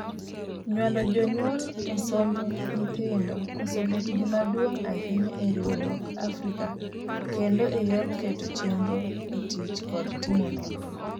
Nyuando jonyuol esomb nyithindo osebet gima duong' ahinya eriwruok Africa kendo eyor keto chenro etich kod timo nonro.